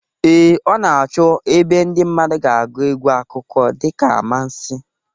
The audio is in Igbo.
Ee, ọ na-achọ ebe ndị mmadụ ga-agụ egwu akụkọ dịka amansi